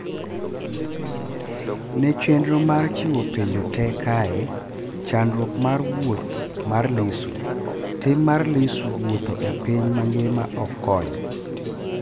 Ne chenro mar chiwo penjo te kae: chandruok mar wuoth mar Lissu " Tim mar Lissu wuotho e piny mangima ok kony"